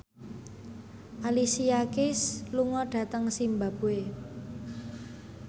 Alicia Keys lunga dhateng zimbabwe